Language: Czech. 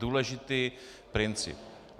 Důležitý princip.